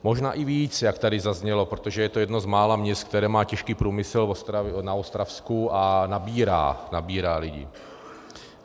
Možná i víc, jak tady zaznělo, protože je to jedno z mála měst, které má těžký průmysl na Ostravsku a nabírá lidi.